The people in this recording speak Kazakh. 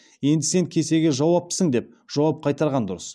енді сен кесеге жауаптысың деп жауап қайтарған дұрыс